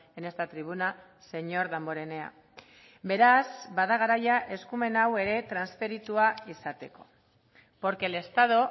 en esta tribuna señor damborenea beraz bada garaia eskumen hau ere transferitua izateko porque el estado